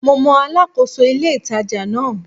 Mo mọ Alákóso ilé-ìtàjà náà